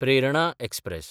Prerna express